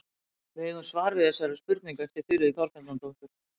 Við eigum svar við þessari spurningu eftir Þuríði Þorbjarnardóttur.